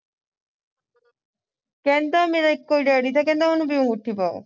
ਕਹਿੰਦਾ ਮੇਰਾ ਇੱਕੋ ਤੇ daddy ਕਹਿੰਦਾ ਉਹਨੂੰ ਵੀ ਅੰਗੂਠੀ ਪਾਉ